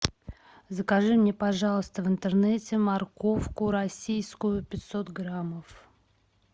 закажи мне пожалуйста в интернете морковку российскую пятьсот граммов